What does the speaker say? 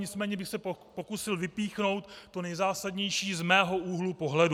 Nicméně bych se pokusil vypíchnout to nejzásadnější z mého úhlu pohledu.